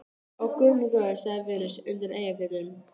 Ó, guð minn góður, sagði Venus undan Eyjafjöllum.